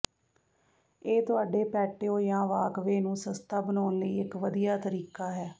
ਇਹ ਤੁਹਾਡੇ ਪੈਟਿਓ ਜਾਂ ਵਾਕਵੇਅ ਨੂੰ ਸਸਤਾ ਬਣਾਉਣ ਲਈ ਇਕ ਵਧੀਆ ਤਰੀਕਾ ਹੈ